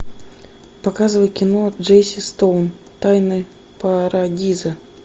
показывай кино джесси стоун тайны парадиза